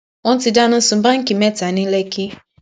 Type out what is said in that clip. wọn ti dáná sun báńkì mẹta ní lẹkì